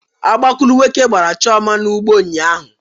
Ọgbakulu nwoke gbara Chioma n'ụgbọ ụnyaahụ